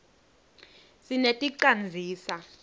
sineti canzisa